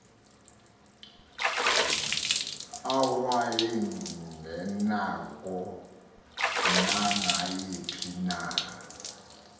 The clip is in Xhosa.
awayengenako nangayiphi na